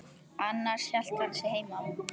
Annars hélt hann sig heima.